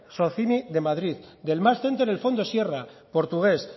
socini de madrid del max centre el fondo sierra portugués